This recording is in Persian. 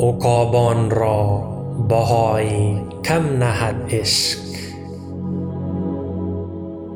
عقابان را بهای کم نهد عشق